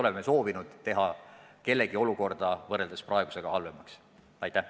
Me ei soovinud kellegi olukorda võrreldes praegusega halvemaks teha.